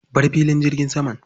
Bar filin jirgin saman.